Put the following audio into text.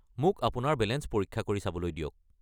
মোক আপোনাৰ বেলেঞ্চ পৰীক্ষা কৰি চাবলৈ দিয়ক।